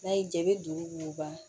N'a y'i diya i bɛ du woloba